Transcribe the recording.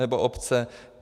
Nebo obce.